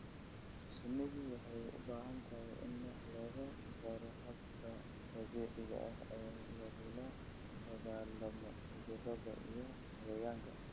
Shinnidu waxay u baahan tahay in wax laga baro hababka dabiiciga ah ee lagula dagaalamo cudurrada iyo cayayaanka.